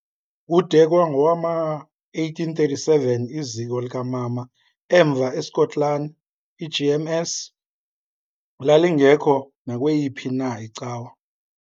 Kude kwangowama1837 iziko likamama emva eSkotlani, iGMS, lalingekho nakweyiphi na icawa.